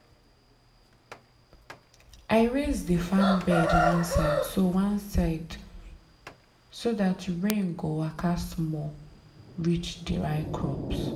i raise the farm bed one side so one side so dat rain go waka small reach dry crops.